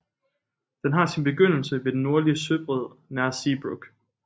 Den har sin begyndelse ved den nordlige søbred nær Seebruck